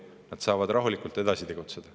Nad saavad rahulikult edasi tegutseda.